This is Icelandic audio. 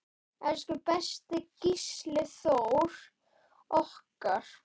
Elsku besti Gísli Þór okkar.